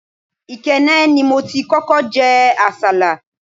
Ikenne ni mo ti kókó jẹ àsálà.